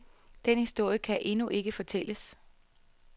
Den historie kan endnu ikke fortælles.